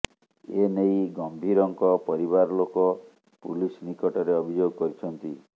ଏନେଇ ଗମ୍ଭୀରଙ୍କ ପରିବାର ଲୋକ ପୁଲିସ୍ ନିକଟରେ ଅଭିଯୋଗ କରିଛନ୍ତି